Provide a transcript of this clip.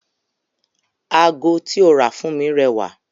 Ago tí ó rà fún mi rẹwà